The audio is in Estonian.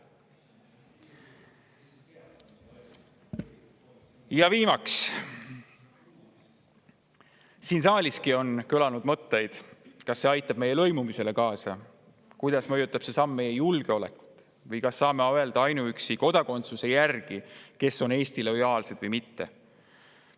Ja viimaks, siin saaliski on kõlanud mõtted, kas see aitab lõimumisele kaasa, kuidas mõjutab see samm meie julgeolekut või kas saame ainuüksi kodakondsuse järgi öelda, kes on Eestile lojaalsed ja kes mitte.